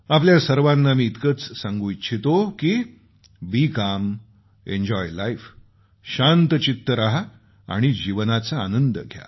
आपल्या सर्वांना मी इतकंच सांगू इच्छितो की शांतचित्त रहा आणि या जीवनाचा आनंद घ्या